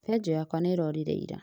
Benjũ yakwa nĩĩrorire ira